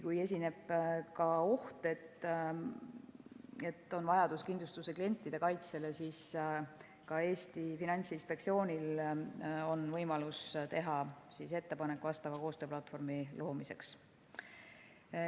Kui esineb oht, et on vajadus kindlustuse kliente kaitsta, siis ka Eesti Finantsinspektsioonil on võimalus teha ettepanek vastava koostööplatvormi loomiseks.